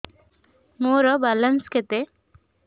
ମୋର ବାଲାନ୍ସ କେତେ